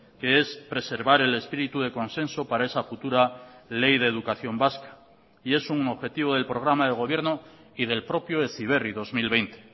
que es preservar el espíritu de consenso para esa futura ley de educación vasca y es un objetivo del programa de gobierno y del propio heziberri dos mil veinte